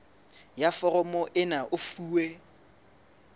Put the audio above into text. ya foromo ena e fuwe